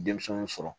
Denmisɛnw sɔrɔ